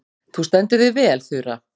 Þú stendur þig vel, Þura!